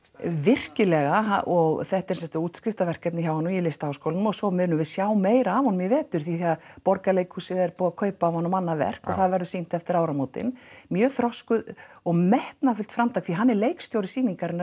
virkilega og þetta er sem sagt útskriftarverkefni hjá honum í Listaháskólanum og svo munum við sjá meira af honum í vetur því Borgarleikhúsið er búið að kaupa af honum annað verk og það verður sýnt eftir áramótin mjög þroskuð og metnaðarfullt framtak því hann er leikstjóri sýningarinnar